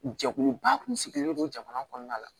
Jɛkuluba kun sigilen don jamana kɔnɔna la